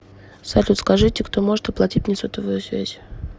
салют скажите кто может оплатить мне сотовую связь